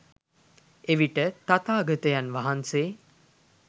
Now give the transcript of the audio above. එවිට තථාගතයන් වහන්සේ